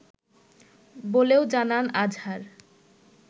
বলেও জানান আজহার